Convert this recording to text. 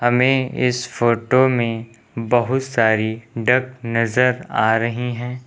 हमें इस फोटो में बहुत सारी डक नजर आ रही हैं।